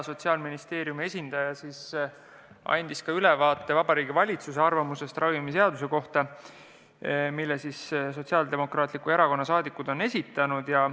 Sotsiaalministeeriumi esindaja andis ülevaate Vabariigi Valitsuse arvamusest ravimiseaduse muutmise seaduse eelnõu kohta, mille Sotsiaaldemokraatliku Erakonna saadikud on esitanud.